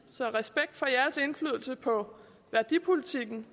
så respekt for jeres indflydelse på værdipolitikken